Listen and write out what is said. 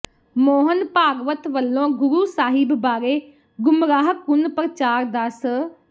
ਮੋਹਨ ਭਾਗਵਤ ਵਲੋਂ ਗੁਰੂ ਸਾਹਿਬ ਬਾਰੇ ਗੁੰਮਰਾਹਕੁੰਨ ਪ੍ਰਚਾਰ ਦਾ ਸ